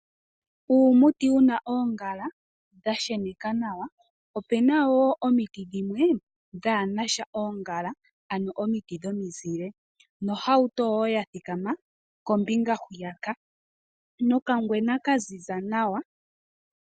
Otapu monika uumuti wu na oongala dha shemeka mawa, po opu na wo omiti dhimwe kaadhi na oongala, ano omiti dhomizile. Kohi yomiti dhomizile otaku monika ohawuto ya thikama, nehalandja alihe olyu udha ongwena ya ziza nawa.